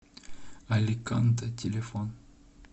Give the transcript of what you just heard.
аликанте телефон